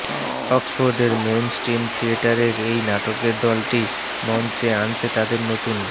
অক্সফোর্ডের মেইনস্টিম থিয়েটারের এই নাটকের দলটি মঞ্চে আনছে তাদের নতুন